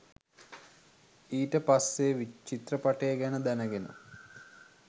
ඊට පස්සෙ චිත්‍රපටිය ගැන දැනගෙන